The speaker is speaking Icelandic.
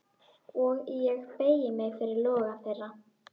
Og ég beygi mig fyrir loga þeirra.